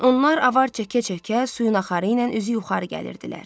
Onlar avar çəkə-çəkə suyun axarı ilə üzü yuxarı gəlirdilər.